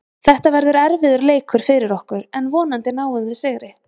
Þetta verður erfiður leikur fyrir okkur en vonandi náum við sigri.